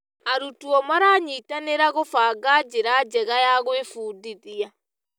Arutwo maranyitanĩra gũbanga njĩra njega ya gwĩbundithia.